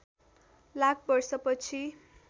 लाख वर्ष पछि